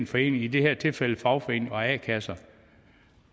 forening i det her tilfælde fagforeninger og a kasser